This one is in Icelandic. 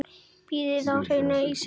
Bítur í hárið á sér.